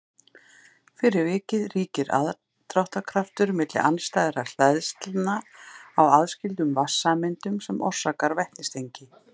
fyrir vikið ríkir aðdráttarkraftur milli andstæðra hleðslna á aðskildum vatnssameindum sem orsakar vetnistengi